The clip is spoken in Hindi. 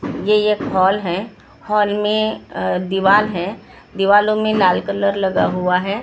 ये ये हॉल है हॉल में दीवार है दीवारों में लाल कलर लगा हुआ है बाजू मे --